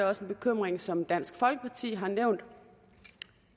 også en bekymring som dansk folkeparti har nævnt